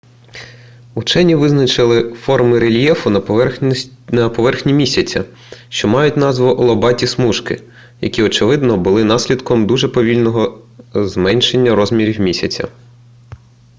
учені визначили форми рельєфу на поверхні місяця що мають назву лобаті смужки які очевидно були наслідком дуже повільного зменшення розмірів місяця